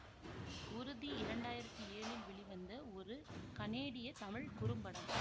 உறுதி இரண்டாயிரத்தி ஏழில் வெளிவந்த ஒரு கனேடிய தமிழ் குறும்படம்